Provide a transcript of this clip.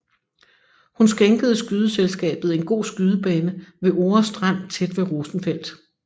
Hun skænkede skydeselskabet en god skydebane ved Ore Strand tæt ved Rosenfeldt